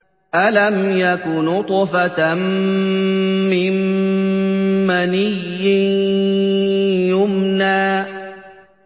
أَلَمْ يَكُ نُطْفَةً مِّن مَّنِيٍّ يُمْنَىٰ